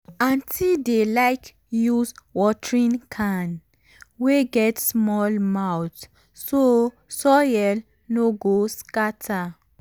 aunty dey like use watering can wey get small mouth so soil no go scatter.